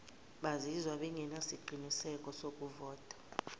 bazizwa bengenasiqiniseko sokuvota